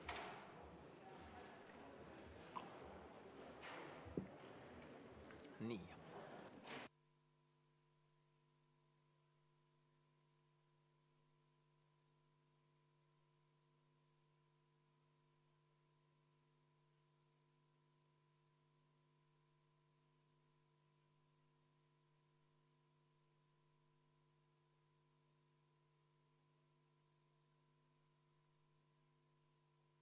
V a h e a e g